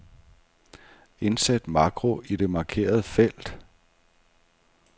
Indsæt makro i det markerede felt.